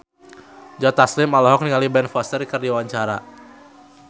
Joe Taslim olohok ningali Ben Foster keur diwawancara